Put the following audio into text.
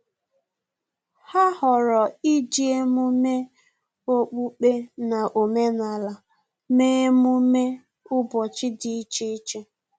Ha ghọrọ iji emume okpukpe na omenala mee emume ụbọchị dị iche iche